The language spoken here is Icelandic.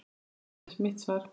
Það hefði verið mitt svar.